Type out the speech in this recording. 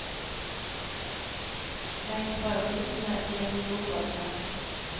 Legg brødbitene i en stor bolle.